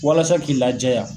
Walasa k'i la jɛya .